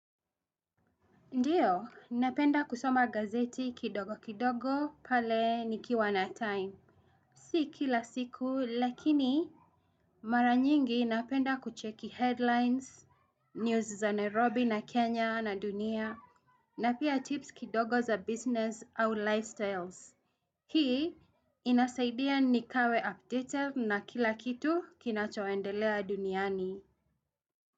Ndiyo, ninapenda kusoma gazeti kidogo kidogo, pale nikiwa na time. Si kila siku, lakini mara nyingi napenda kucheki headlines, news za Nairobi na Kenya na dunia, na pia tips kidogo za business au lifestyles. Hii, inasaidia nikawe updated na kila kitu kinachoendelea duniani.